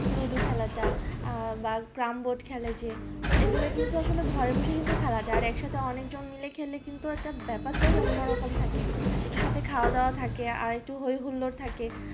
ludo খেলা তা বা carrom board যে তো এগুলোআসলে বাড়িতে বসেই খেলা যাই আর একসঙ্গে অনেক জন মাইল খেললে বেপারটাই অন্য রকম লাগে একটু সাথে খাওয়া দাওয়া থাকে আর একটু সাথে হয় হুল্লোড় থাকে